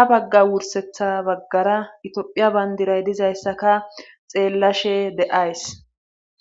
ha bagga wursetha baggara itiphiya bandiray dizayssaka xeellashe de7ays.